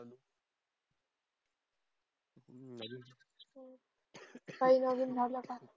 काही नवीन झाल का